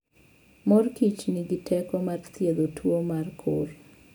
Mor Kichnigi teko mar thiedho tuwo mar kor